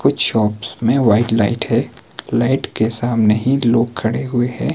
कुछ शॉप्स में white light है लाइट के सामने ही लोग खड़े हुए है।